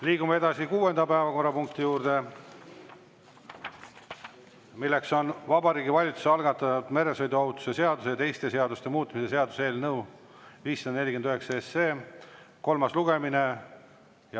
Liigume kuuenda päevakorrapunkti juurde: Vabariigi Valitsuse algatatud meresõiduohutuse seaduse ja teiste seaduste muutmise seaduse eelnõu 549 kolmas lugemine.